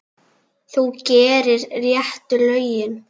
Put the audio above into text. Þú gerir réttu lögin.